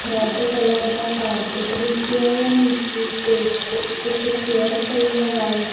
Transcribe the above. Red colour ਦਾ carpet ਵਿੱਛਿਆ ਆ ਨੀਚੇ ਸਟੇਜ ਤੇ ਇੱਕ ਚੇਅਰ ਪਈ ਆ ਵ੍ਹਾਈਟ ।